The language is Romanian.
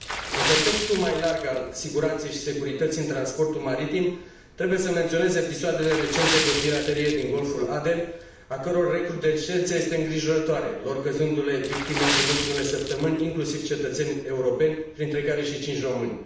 În contextul mai larg al siguranței și securității în transportul maritim trebuie să menționez episoadele recente de piraterie din Golful Aden, a căror recrudescență este îngrijorătoare, lor căzându le victime în ultimele săptămâni inclusiv cetățeni europeni, printre care și 5 români.